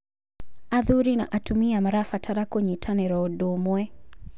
Athuri na atumia marabatara kũnyitanĩra ũndũ ũmwe.